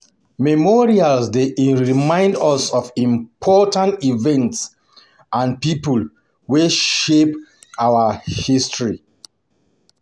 Memorials dey remind us of important events and people wey shape our history.